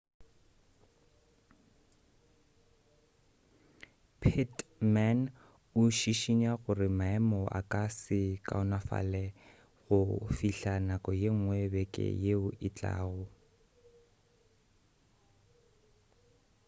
pittman o šišinya gore maemo a ka se kaonafale go fihla nako yengwe beke yeo e tlago